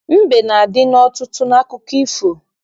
Mbe na-adị n'ọtụtụ akụkọ ifo